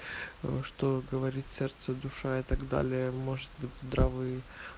что говорит сердце и душа и так далее может быть здравы